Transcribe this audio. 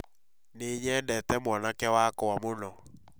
Nĩ nyendete mwanake wakwa mũno